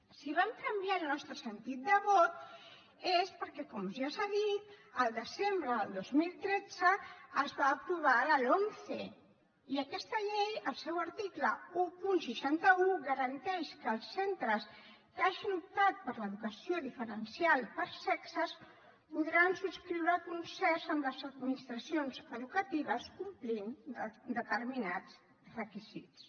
si vam canviar el nostre sentit de vot és perquè com ja s’ha dit al desembre del dos mil tretze es va aprovar la lomce i aquesta llei al seu article cent i seixanta un garanteix que els centres que hagin optat per l’educació diferencial per sexes podran subscriure concerts amb les administracions educatives complint determinats requisits